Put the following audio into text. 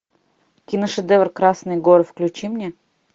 киношедевр красные горы включи мне